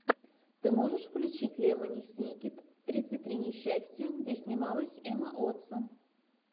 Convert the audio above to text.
ты можешь включить лемони сникет тридцать три несчастья где снималась эмма уотсон